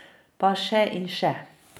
Pa še in še.